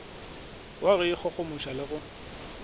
wa go ikgogomoša le go